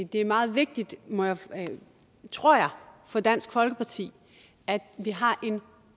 det er meget vigtigt tror jeg for dansk folkeparti at vi har en